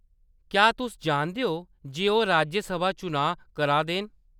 क्या तुस जानदे ओ जे ओह्‌‌ राज्यसभा चुनांऽ कराऽ दे न ?